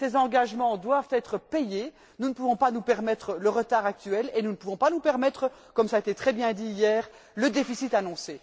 Ces engagements doivent être payés, nous ne pouvons pas nous permettre le retard actuel et nous ne pouvons pas nous permettre, comme cela a été très bien dit hier, le déficit annoncé.